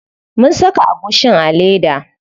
Mun saka agushin a leda.